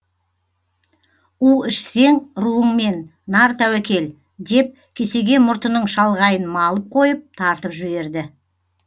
у ішсең руыңмен нар тәуекел деп кесеге мұртының шалғайын малып қойып тартып жіберді